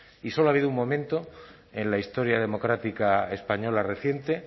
y solo ha habido un momento en la historia democrática española reciente